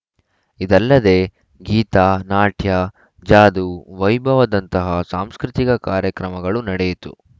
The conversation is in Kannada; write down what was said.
ಇದಲ್ಲದೆ ಗೀತ ನಾಟ್ಯ ಜಾದೂ ವೈಭವದಂತಹ ಸಾಂಸ್ಕೃತಿಕ ಕಾರ್ಯಕ್ರಮಗಳು ನಡೆಯಿತು